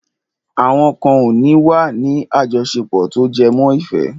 Àwọn kan ò ní wà ní àjọṣepọ̀ tó jẹmọ́ ìfẹ́.